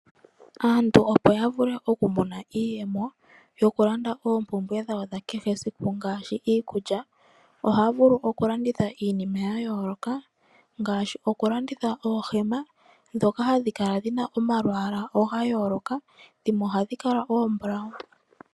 Aantu opo ya vule okumona iiyemo yokulanda oompumbwe dhawo dha kehe esiku ngaashi iikulya ohaya vulu okulanditha iinima ya yooloka ngaashi okulanditha oohema ndhoka hadhi kala dhina omalwala ga yooloka dhimwe ihadhi kala oombulawu.